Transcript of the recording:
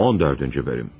14-cü bölüm.